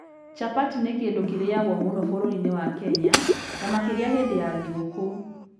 Chapati nĩ kĩndũ kĩrĩagwo mũno bũrũri-inĩ wa Kenya, na makĩria hĩndĩ ya thigũkũ.